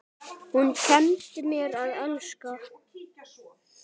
Hún kenndi mér að elska.